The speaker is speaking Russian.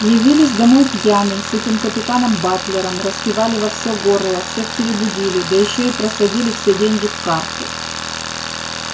явились домой пьяный с этим капитаном батлером распевали во всё горло всех перебудили да ещё и просадили все деньги в карты